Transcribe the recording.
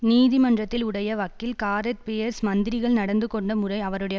நீதிமன்றத்தில் உடைய வக்கீல் காரெத் பீயர்ஸ் மந்திரிகள் நடந்து கொண்ட முறை அவருடைய